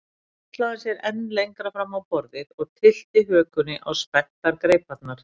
Svo hallaði hann sér enn lengra fram á borðið og tyllti hökunni á spenntar greiparnar.